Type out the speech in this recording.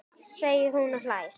segir hún og hlær.